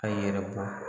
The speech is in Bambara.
A yɛrɛ bɔ